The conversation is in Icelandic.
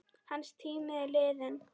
Hans tími er liðinn.